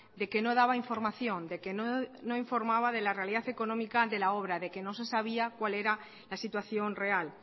de que no daba información de que no informaba de la realidad económica de la obra de que no se sabía cuál era la situación real